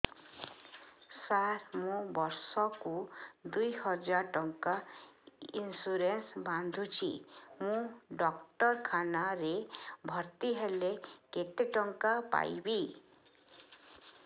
ସାର ମୁ ବର୍ଷ କୁ ଦୁଇ ହଜାର ଟଙ୍କା ଇନ୍ସୁରେନ୍ସ ବାନ୍ଧୁଛି ମୁ ଡାକ୍ତରଖାନା ରେ ଭର୍ତ୍ତିହେଲେ କେତେଟଙ୍କା ପାଇବି